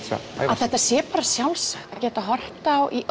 að þetta sé bara sjálfsagt að geta horft á